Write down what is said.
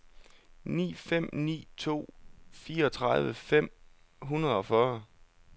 ni fem ni to fireogtredive fem hundrede og fyrre